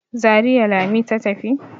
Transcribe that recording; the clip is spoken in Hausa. Zariya Lami ta tafi.